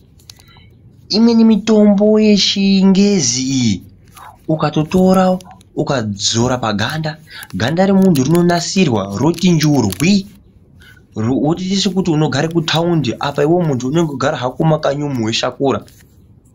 Imweni mitombo yechingezi iyi ukatotora ukadzora paganda, ganda romuntu rinonasirwa roti njurwi. Votoita sokuti unogara kutaundi apa iveve muntu unonga veigara hako mumakanyi umu veishakura.